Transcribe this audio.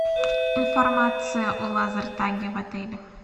информация о лазертаге в отеле